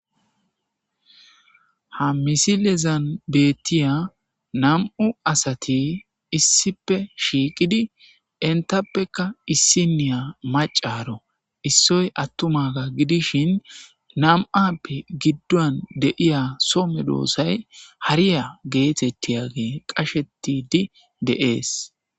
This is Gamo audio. Ha misilezan bettiya nam7u asati issipe shiiqidi intappeka issiniya macaro issoy attumaga gidishin nam7appe giddon deiya some doossay hariya geetettiyage qashetidi deees.